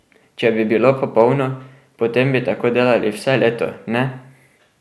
Če bi bilo popolno, potem bi tako delali vse leto, ne?